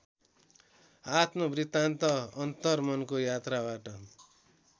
आत्मवृर्तान्त अन्तर्मनको यात्राबाट